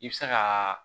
I bɛ se ka